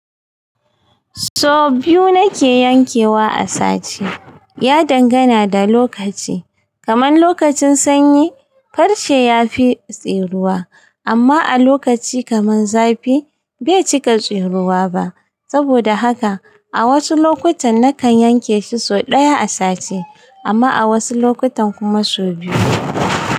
So biyu nake yankewa a sati. Ya dangana da lokaci. Kamar lokacin sanyi farce yafi tseruwa amma a lokaci kamar zafi bai cika tseruwa ba. Saboda haka a wasu lokutan nakan yanke shi so ɗaya a sati amma a wasu lokutan kuma so biyu.